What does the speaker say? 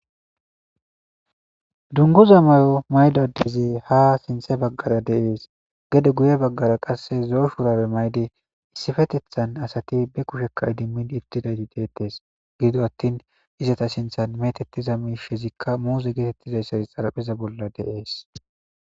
dunguza may7o maydadezi ha sinthe baggara deees gede guye baggara qasse zooshuurabe mayde issifetethan asati be kushekka idimmin idtidayti deettes gido attin izata sinthan metettiza miishezikka muuze geetettizayssazi xarapheza bolla deees